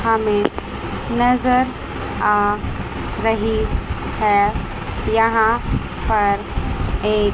हमें नजर आ रही है यहां पर एक--